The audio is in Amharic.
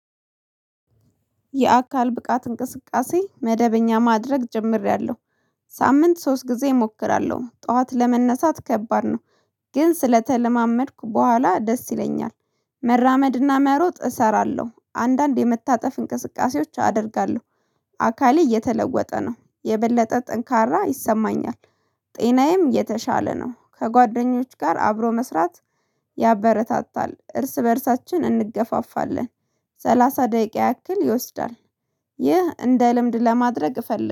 የአካል ብቃት እንቅስቃሴ መደበኛ ማድረግ ጀምሬያለሁ። ሳምንት ሶስት ጊዜ እሞክራለሁ ጠዋት ለመነሳት ከባድ ነው። ግን ስለተለማመድኩ በኋላ ደስ ይለኛል መራመድና መሮጥ እሰራለሁ አንዳንድ የመታጠፍ እንቅስቃሴዎች አደርጋለሁ። አካሌ እየተለወጠ ነው የበለጠ ጠንካራ ይሰማኛል። ጤናዬም የተሻለ ነው ከጓደኞች ጋር አብሮ መስራት። ያበረታታል እርስ በእርሳችን እንገፋፋለን ሰላሳ ደቂቃ ያክል ይወስዳል ይህ እንደ ልምድ ለማድረግ እፈልግ